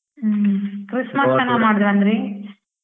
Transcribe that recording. Christmas ಚೆನ್ನಾಗ್ ಮಾಡದ್ರಂದ್ರಿ?